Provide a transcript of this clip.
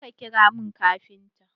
Je ka ƙira min kafintan!